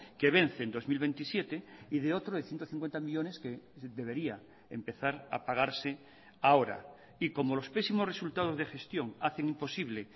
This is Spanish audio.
que vence en dos mil veintisiete y de otro de ciento cincuenta millónes que debería empezar a pagarse ahora y como los pésimos resultados de gestión hacen imposible